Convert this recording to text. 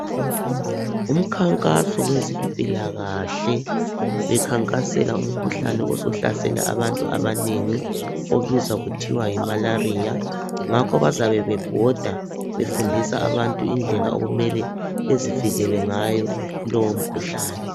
Umkhankaso wezempilakahle bekhankasela umkhuhlane osuhlasele abantu abanengi obizwa kuthiwa yimalaria, ngakho bazabe bebhoda befundisa abantu indlela okumele bezivikele ngayo kulowo mkhuhlane.